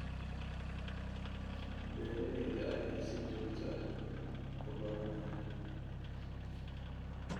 Beeralayda ayaa si joogto ah u baranaya.